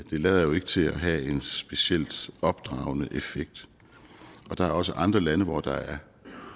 lader jo ikke til at have en specielt opdragende effekt og der er også andre lande hvor der er